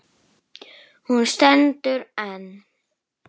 Hún stendur enn.